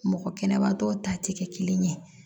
Mɔgɔ kɛnɛbatɔ ta tɛ kɛ kelen ye